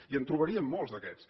i en trobaríem molts d’aquests